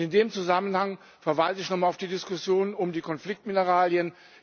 In dem Zusammenhang verweise ich noch einmal auf die Diskussion um die Konfliktmineralien.